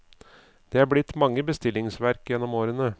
Det er blitt mange bestillingsverk gjennom årene.